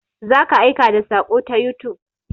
Za ka aika da saƙo ta youtube.